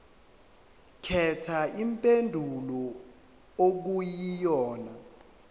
khetha impendulo okuyiyona